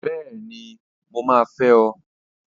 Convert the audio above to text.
Bẹ́ẹ̀ni! Mo máa fẹ́ ọ!